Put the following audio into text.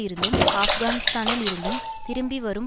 இருந்தும் ஆப்கானிஸ்தானில் இருந்தும் திரும்பி வரும்